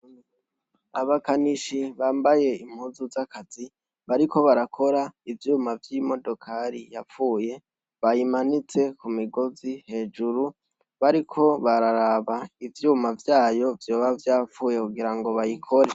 Abakanishi bambaye impuzu z'akazi bariko barakora ivyuma vy'imodokari yapfuye. Bayimanitse ku migozi hejuru bariko bararaba ivyuma vyayo vyoba vyapfuye kugira ngo bayikore.